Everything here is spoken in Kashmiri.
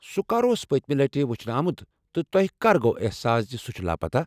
سہُ کر اوس پٔتِمہِ لٹہِ وٕچھنہٕ آمُت تہٕ تۄہہ کر گوٚوٕ احساس زِ سہُ چھُ لاپتہ؟